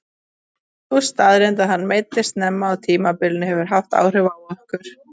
Sú staðreynd að hann meiddist snemma á tímabilinu hefur haft áhrif á okkur.